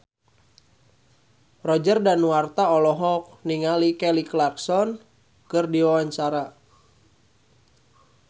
Roger Danuarta olohok ningali Kelly Clarkson keur diwawancara